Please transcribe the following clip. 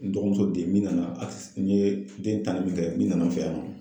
N dɔgɔmuso den min nana akisi n ye den tanni min kɛ min nana n fɛ yan.